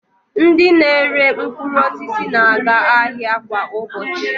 Ndị na-ere mkpụrụosisi na-aga ahịa kwa ụbọchị